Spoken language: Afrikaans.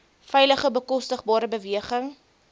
veilige bekostigbare beweging